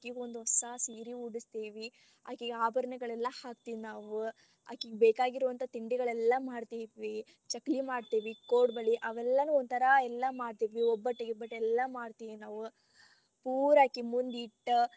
ಅಕಿಗೇ ಒಂದ ಹೊಸಾ ಸೀರಿ ಉಡಸ್ತೇವಿ ಅಕೀಗ್ ಆಭರಣಗಳೆಲ್ಲಾ ಹಾಕ್ತೆವಿ ನಾವ್ ಅಕೀಗ್ ಬೇಕಾಗಿರುವಂತ ತಿಂಡಿಗಳೆಲ್ಲಾ ಮಾಡ್ತೀವಿ ಚಕ್ಲಿ ಮಾಡ್ತೀವಿ ಕೊಡಬಳ್ಳಿ ಅವೆಲ್ಲಾ ಒಂತರಾ ಎಲ್ಲಾ ಮಾಡ್ತೀವಿ, ಒಬ್ಬಟ್ಟ್ ಗಿಬ್ಬಟ್ಟ್ ಎಲ್ಲಾ ಮಾಡ್ತೀವಿ ನಾವು ಪೂರಾ ಅಕಿ ಮುಂದ್ ಇಟ್ಟ್ .